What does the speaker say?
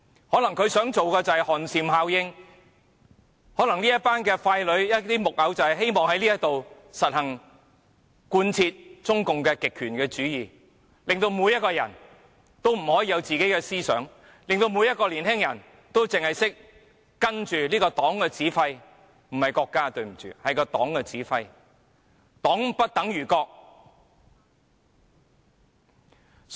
可能他們想製造寒蟬效應，可能這一群傀儡、木偶希望在這裏實行及貫徹中共的極權主義，令每一個人也不可以有自己的思想，令每一個年青人只懂跟隨這個黨的指揮——對不起，不是國家，是黨的指揮——黨不等於國。